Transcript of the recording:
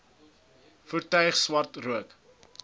voertuig swart rook